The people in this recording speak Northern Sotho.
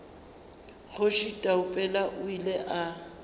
kgoši taupela o ile a